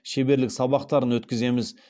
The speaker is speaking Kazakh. шеберлік сабақтарын өткіземіз